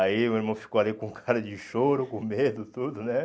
Aí o irmão ficou ali com cara de choro, com medo, tudo, né?